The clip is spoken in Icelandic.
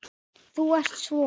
Þú ert svo.